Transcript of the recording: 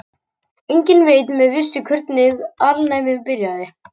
Enginn veit með vissu hvernig alnæmi byrjaði.